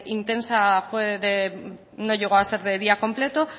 intensa no llegó a ser de día completo